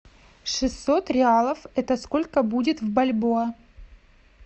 шестьсот реалов это сколько будет в бальбоа